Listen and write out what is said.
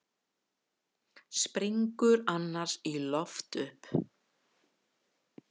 Springur annars í loft upp.